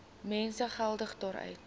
mense geldelik daaruit